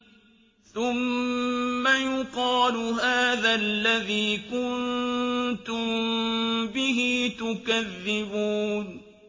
ثُمَّ يُقَالُ هَٰذَا الَّذِي كُنتُم بِهِ تُكَذِّبُونَ